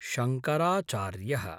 शाङ्कराचार्यः